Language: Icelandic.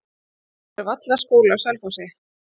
það eru vallaskóli á selfossi